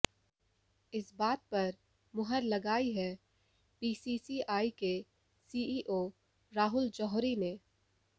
इस बात पर मुहर लगाई है बीसीसीआई के सीईओ राहुल जौहरी ने